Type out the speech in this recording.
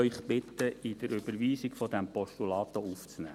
Ich bitte Sie, es mit der Überweisung dieses Postulats aufzunehmen.